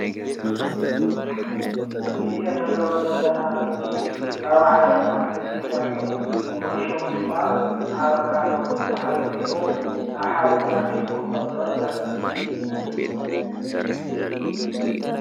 እዚ ንሪኦ ዘለና ምስሊ ካብ ዓይነት አትክልቲ ኮይኑ ፍሉይ ሽሙ ድማ አቨካዶ ዝበሃል ኮይኑ አብ ሓደ ተአኪቡ ከሎ ዘርኢ ምስሊ እዩ።